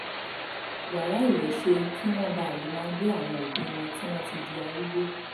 yàrá ìwẹ̀ ṣe kí wọ́n bàa lè máa gbé àwọn òbí wọn tí wọ́n ti di arúgbó